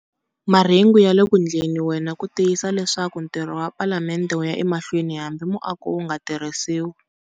Marhengu ya le ku endliweni ku tiyisisa leswaku ntirho wa Palamende wu ya emahlweni hambi muako wu nga tirhisiwi.